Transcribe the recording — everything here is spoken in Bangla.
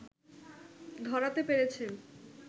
ধরাতে পেরেছেন